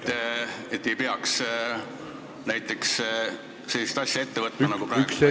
... olema, et ei peaks näiteks sellist asja ette võtma nagu praegu?